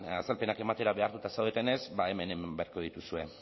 azalpenak ematera behartuta zaudetenez ba hemen egin beharko dituzue